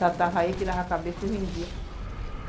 Tratava ele, tirava a cabeça e vendia.